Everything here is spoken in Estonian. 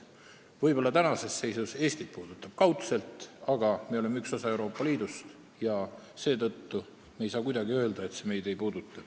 Võib-olla on selle mõju Eestile kaudne, aga me oleme üks osa Euroopa Liidust ja seetõttu ei saa me kuidagi öelda, et see meid ei puuduta.